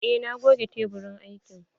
Eh na goge teburin aikin.